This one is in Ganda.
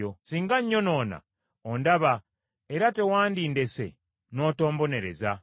Singa nyonoona, ondaba era tewandindese n’otombonereza.